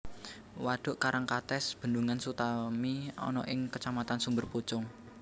Wadhuk Karangkates Bendungan Sutami ana ing Kacamatan Sumberpucung